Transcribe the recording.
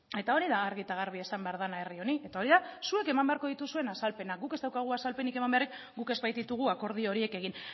eta hori da argi eta garbi esan behar dena herri honi eta hori da zuek eman beharko dituzuen azalpenak guk ez daukagu azalpenik eman beharrik guk ez baititugu akordio horiek egin